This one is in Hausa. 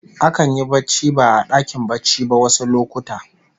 Akan yi barci ba a dakin barci ba wasu lokuta